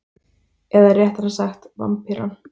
Eða réttara sagt Vampýran.